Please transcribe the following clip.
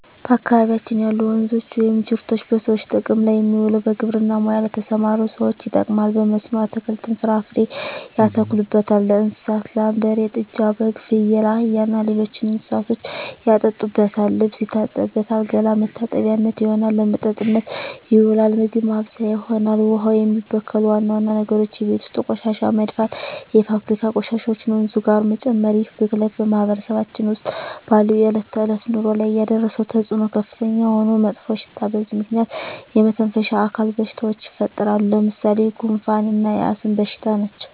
በአካባቢያችን ያሉ ወንዞች ወይም ጅረቶች በሰዎች ጥቅም ላይ የሚውለው በግብርና ሙያ ለተሠማሩ ሠዎች ይጠቅማል። በመስኖ አትክልትን፣ ፍራፍሬ ያተክሉበታል። ለእንስሳት ላም፣ በሬ፣ ጥጃ፣ በግ፣ ፍየል፣ አህያ እና ሌሎች እንስሶችን ያጠጡበታል፣ ልብስ ይታጠብበታል፣ ገላ መታጠቢያነት ይሆናል። ለመጠጥነት ይውላል፣ ምግብ ማብሠያ ይሆናል። ውሃውን የሚበክሉ ዋና ዋና ነገሮች የቤት ውስጥ ቆሻሻ መድፋት፣ የፋብሪካ ቆሻሾችን ወንዙ ጋር መጨመር ይህ ብክለት በማህበረሰባችን ውስጥ ባለው የዕለት ተዕለት ኑሮ ላይ ያደረሰው ተፅዕኖ ከፍተኛ የሆነ መጥፎሽታ በዚህ ምክንያት የመተነፈሻ አካል በሽታዎች ይፈጠራሉ። ለምሣሌ፦ ጉንፋ እና የአስም በሽታ ናቸው።